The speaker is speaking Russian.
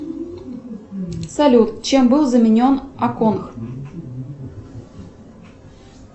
салют чем был заменен аконх